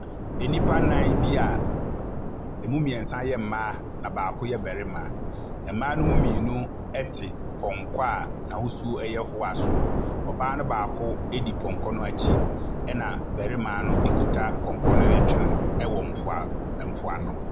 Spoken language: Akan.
Nnipa nan bi a emu mmiɛnsa yɛ mmaa na baako yɛ barima. Mmaa ni mu mmienu te pɔnkɔ a n'ahosu yɛ hoa so. Ɔbaa no baako di pɔnkɔ no akyi na barima no kuta pɔnkɔ no retwe no wɔ mpoa mpoano.